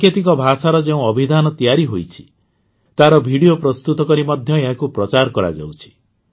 ସାଙ୍କେତିକ ଭାଷାର ଯେଉଁ ଅଭିଧାନ ତିଆରି ହୋଇଛି ତାହାର ଭିଡିଓ ପ୍ରସ୍ତୁତ କରି ମଧ୍ୟ ଏହାକୁ ପ୍ରଚାର କରାଯାଉଛି